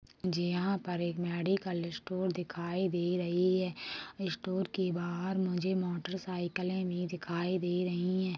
जहाँ पर एक मेडिकल स्टोर दिखाई दे रही है स्टोर के बाहर मुझे मोटरसाइकिले भी दिखाई दे रही हैं।